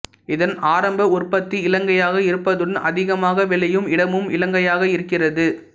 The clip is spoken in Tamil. இதன் ஆரம்ப உற்பத்தி இலங்கையாக இருப்பதுடன் அதிகமாக விளையும் இடமும் இலங்கையாக இருக்கிறது